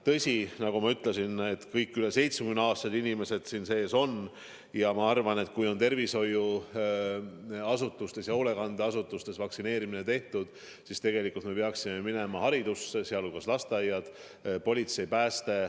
Tõsi, nagu ma ütlesin, kõik üle 70-aastased inimesed on seal sees ja ma arvan, et kui on tervishoiuasutustes ja hoolekandeasutustes vaktsineerimine tehtud, siis tegelikult tuleks edasi minna haridusse, sh lasteaiad, pluss politsei ja pääste.